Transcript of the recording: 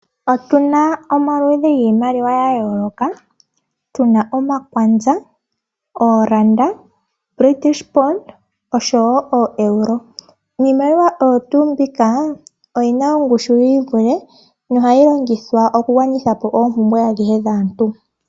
Otuna omaludhi giimaliwa ya yooloka. Tuna omaKwanza, ooRanda, British Pound osho wo ooEuro. Niimaliwa oyo tuu mbika oyina oongushu yi ivule nohayi longithwa okugwanitha po oompumbwe adhihe dhaantu.